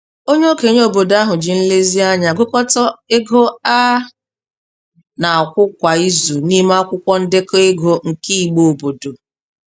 Onye okenye obodo ahụ ji nlezianya gụkọta ego a na-akwụ kwa izu n'ime akwụkwọ ndekọ ego nke igbe obodo.